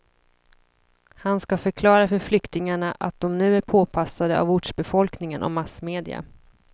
Han ska förklara för flyktingarna att de nu är påpassade av ortsbefolkningen och massmedia.